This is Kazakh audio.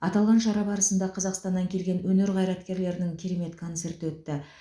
аталған шара барысында қазақстаннан келген өнер қайраткерлерінің керемет концерті өтті